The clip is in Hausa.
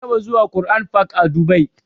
Na taɓa zuwa Qur'an fak a dubai